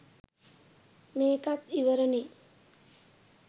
මේකත් ඉවරනේ